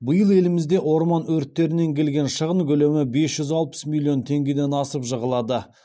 биыл елімізде орман өрттерінен келген шығын көлемі бес жүз алпыс миллион теңгеден асып жығылады